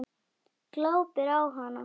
Glápir á hana.